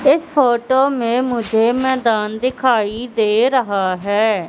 इस फोटो में मुझे मैदान दिखाई दे रहा है।